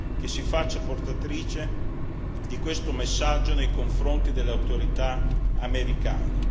che si faccia portatrice di questo messaggio nei confronti delle autorità americane.